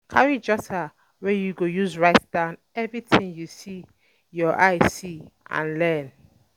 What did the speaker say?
Carry jotter wey you go use write down everything you use your eye see and learn